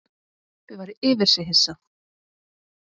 Kobbi var yfir sig hissa.